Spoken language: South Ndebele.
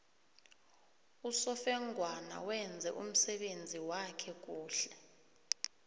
usofengwana wenze umsebenzi wakhe kuhle